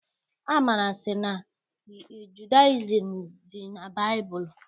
Amara sị na Judayizim dị na baịbụlụ.